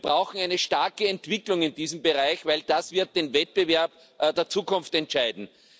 Wir brauchen eine starke Entwicklung in diesem Bereich, denn das wird den Wettbewerb der Zukunft entscheiden.